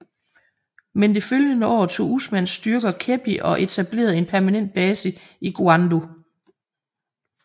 Men det følgende år tog Usmans styrker Kebbi og etablerede en permanent base i Gwandu